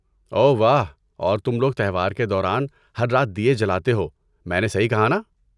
اوہ واہ، اور تم لوگ تہوار کے دوران ہر رات دیئے جلاتے ہو، میں نے صحیح کہا ناں؟